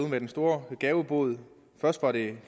med den store gavebod først var det